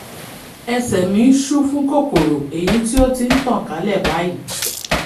ẹsẹ̀ mí ṣú fún kòkòrò èyí tí ó ti ń tàn kálẹ̀ báyìí